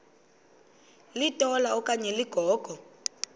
litola okanye ligogo